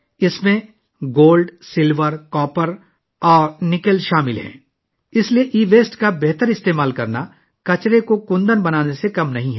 اس میں سونا، چاندی، تانبا اور نکل شامل ہیں، اس لیے ای ویسٹ کا استعمال 'کچرے کو کنچن' بنانے سے کم نہیں ہے